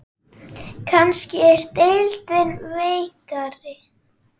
Kannski er deildin veikari?